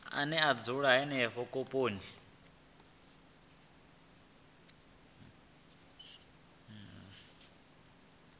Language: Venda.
ane a dzula henefho khophi